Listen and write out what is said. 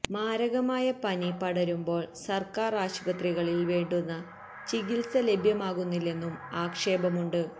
മാരകമായ പനി പടരുമ്പോള് സര്ക്കാര് ആശുപത്രികളില് വേണ്ടുന്ന ചികിത്സ ലഭ്യമാകുന്നില്ലെന്നും ആക്ഷേപമുണ്ട്